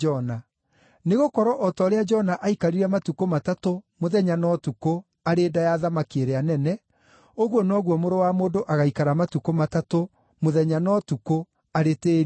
Nĩ gũkorwo o ta ũrĩa Jona aikarire matukũ matatũ, mũthenya na ũtukũ, arĩ nda ya thamaki ĩrĩa nene, ũguo noguo Mũrũ wa Mũndũ agaikara matukũ matatũ, mũthenya na ũtukũ, arĩ tĩĩri-inĩ.